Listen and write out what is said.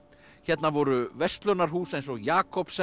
hérna voru verslunarhús eins og